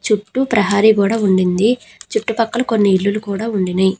చుట్టూ ప్రహరీ గోడ ఉండింది. చుట్టుపక్కల కొన్ని ఇల్లులు కూడా ఉండినయ్.